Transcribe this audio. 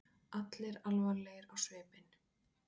Allir alvarlegir á svipinn.